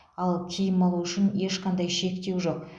ал киім алу үшін ешқандай шектеу жоқ